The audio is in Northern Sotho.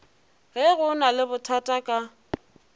ge go na lebothata ka